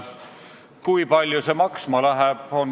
Kui palju see maksma läheb?